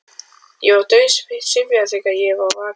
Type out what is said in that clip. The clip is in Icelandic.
Ég var dauðsyfjaður þegar ég var vakinn.